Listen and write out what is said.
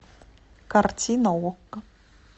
картина окко